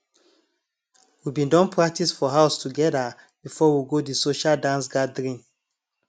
we bin don practice for house together before we go de social dance gathering